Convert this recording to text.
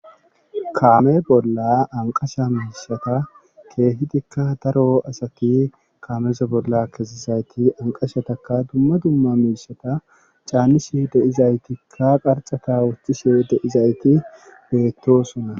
Kaame bolla anqasha miishata keehidikka daro asaki kaamesa bolla kezizayti anqashataka dumma dumma miishata caannishe deizaytikka qarcata wustishe deizayti beettosunna.